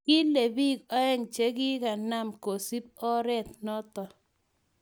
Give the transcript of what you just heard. kile biik oeng che kikunam kosub oret noto